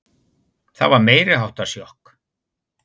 Það var meiriháttar sjokk.